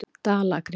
Dalakri